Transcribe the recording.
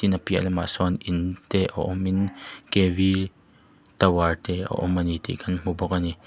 a piah lamah sawn in te a awm in kv tower te a awm a ni tih kan hmu bawk a ni.